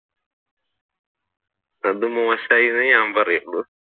അത് മോശമായി എന്നെ ഞാൻ പറയുള്ളു.